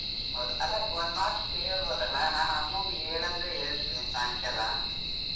ಹೌದಾ~ ಅಲ್ಲಾ ಒಂದ್ ಮಾತ್ ಕೇಳ್ಬೋದಲ್ಲ ನಾನ್ ಅಮ್ಮಗ್ ಹೇಳ ಅಂದ್ರೆ ಹೇಳ್ತೀನಿ ಸಾಯಂಕಾಲ.